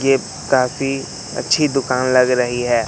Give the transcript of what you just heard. ये काफी अच्छी दुकान लग रही है।